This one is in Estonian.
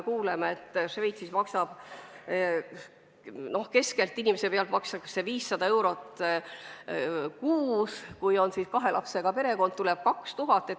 Šveitsis tuleb keskeltläbi inimese pealt maksta 500 eurot kuus, kui on kahe lapsega pere, tuleb maksta 2000.